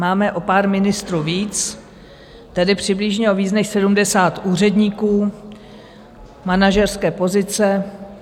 Máme o pár ministrů víc, tedy přibližně o víc než 70 úředníků, manažerské pozice.